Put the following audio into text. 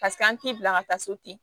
Paseke an t'i bila ka taa so ten